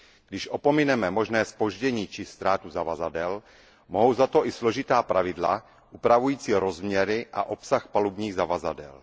Když opomineme možné zpoždění či ztrátu zavazadel, mohou za to i složitá pravidla upravující rozměry a obsah palubních zavazadel.